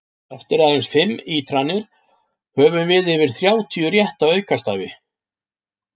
Eftir aðeins fimm ítranir höfum við yfir þrjátíu rétta aukastafi!